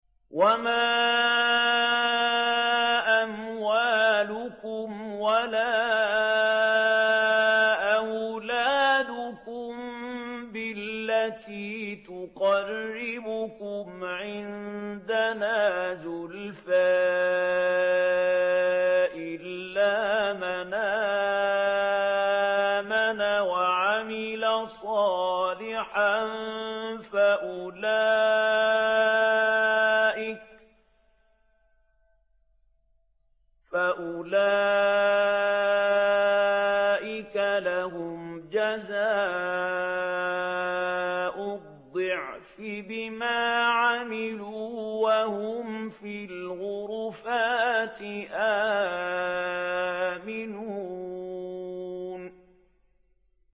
وَمَا أَمْوَالُكُمْ وَلَا أَوْلَادُكُم بِالَّتِي تُقَرِّبُكُمْ عِندَنَا زُلْفَىٰ إِلَّا مَنْ آمَنَ وَعَمِلَ صَالِحًا فَأُولَٰئِكَ لَهُمْ جَزَاءُ الضِّعْفِ بِمَا عَمِلُوا وَهُمْ فِي الْغُرُفَاتِ آمِنُونَ